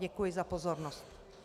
Děkuji za pozornost.